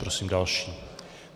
Prosím další.